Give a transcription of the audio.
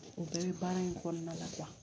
O bɛɛ bɛ baara in kɔnɔna la